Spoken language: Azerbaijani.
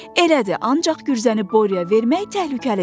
Elədir, ancaq gürzəni Boryaya vermək təhlükəlidir.